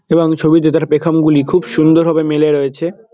এবং ছবিতে তার পেখম গুলি খুব সুন্দর ভাবে মেলে রয়েছে।